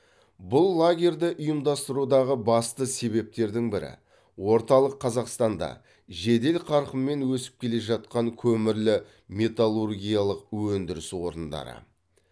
бұл лагерьді ұйымдастырудағы басты себептердің бірі орталық қазақстанда жедел қарқынмен өсіп келе жатқан көмірлі металлургиялық өндіріс орындары